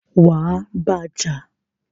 wà á bá a jà!